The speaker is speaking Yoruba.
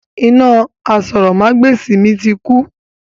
Iná àsòrọmagbesi mi ti kú.